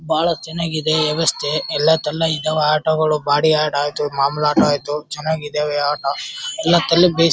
ಬಹಳ ಚನ್ನಾಗಿದೆ ಯವಸ್ಥೆ. ಎಲ್ಲಾ ಆಟೋಗಳು ಬಾಡಿ ಆಟೋಗಳು ಮಾಮೂಲಿ ಆಟೋ ಆಯತ್ತು ಚನ್ನಾಗಿದವೇ ಆಟೋ